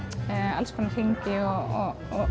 alls konar hringi og